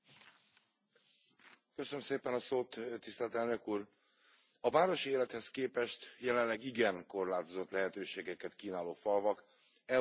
Elnök Úr, a városi élethez képest jelenleg igen korlátozott lehetőségeket kínáló falvakat Európa szerte veszélyezteti az elnéptelenedés.